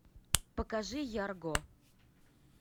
покажи ярго